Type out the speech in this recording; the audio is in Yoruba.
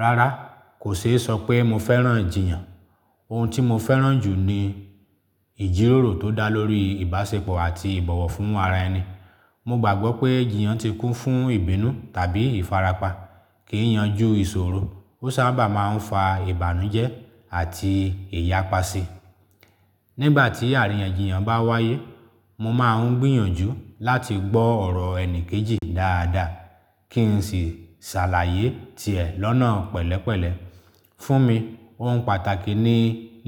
Rárá, kò ṣeé sọ pé mo fẹ́ràn ijiyàn. Ohun tí mo fẹ́ràn jù ni ìjíròrò tó dá lórí ìbáṣepọ̀ àti ìbọ̀wọ̀ fún ara ẹni. Mo gbàgbọ́ pé jiyàn ti kún fún ìbínú tàbí ìfarapa. Kì í yanjú ìṣòro, ó sábà máa ń fa ìbànújẹ́ àti ìyàpá ṣii. Nígbà tí àríyànjiyàn bá wáyé, mo máa ń gbìyànjú láti gbọ́ ọ̀rọ̀ ẹni kejì dáadáa kí n sì ṣàlàyé tiẹ̀ lọ́nà pẹ̀lẹ́pẹ̀lẹ́. Fún mi, ohun pàtàkì ni